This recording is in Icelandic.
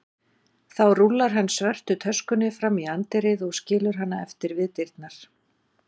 Þá rúllar hann svörtu töskunni fram í anddyrið og skilur hana eftir við dyrnar.